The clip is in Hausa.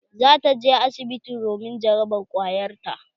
Za ta je asibiti domin jarabar ƙwayar ta.